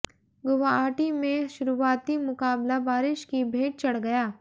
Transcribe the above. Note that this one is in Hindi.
गुवाहाटी में शुरुआती मुकाबला बारिश की भेंट चढ़ गया